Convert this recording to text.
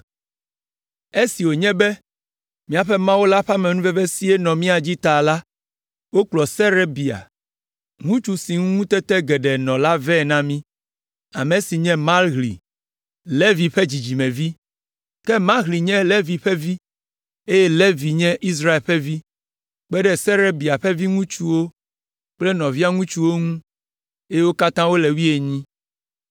Esi wònye be míaƒe Mawu la ƒe amenuvevesie nɔ mía dzi ta la, wokplɔ Serebia, ŋutsu si ŋu ŋutete geɖe nɔ la vɛ na mí, ame si nye Mahli, Levi ƒe dzidzimevi. Ke Mahli nye Levi ƒe vi, eye Levi nye Israel ƒe vi, kpe ɖe Serebia ƒe viŋutsuwo kple nɔvia ŋutsuwo ŋu, eye wo katã wole ame wuienyi.